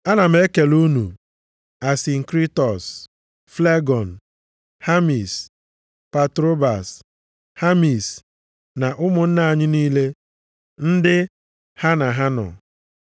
Ana m ekele unu Asinkritọs, Flegọn, Hamis, Patrobas, Hamis na ụmụnna anyị niile ndị ha na ha nọ.